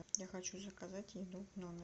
я хочу заказать еду в номер